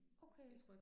Okay